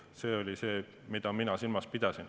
See oli see, mida mina silmas pidasin.